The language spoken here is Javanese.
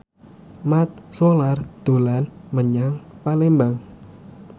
Mat Solar dolan menyang Palembang